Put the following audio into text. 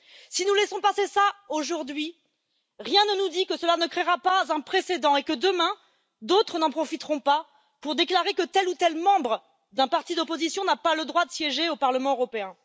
Si nous laissons passer cela aujourd'hui, rien ne nous dit que cela ne créera pas un précédent et que, demain, d'autres n'en profiteront pas pour déclarer que tel ou tel membre d'un parti d'opposition n'a pas le droit de siéger au Parlement européen.